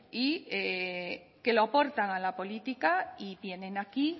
que lo aportan a la política y vienen aquí